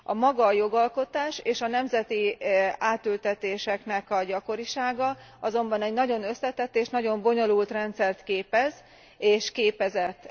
Maga a jogalkotás és a nemzeti átültetéseknek a gyakorisága azonban egy nagyon összetett és nagyon bonyolult rendszert képez és képezett.